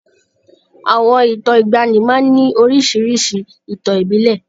Àwọn ìtàn ìgbaanì máa ń ní oríṣiríṣi ìtàn ìbílẹ̀.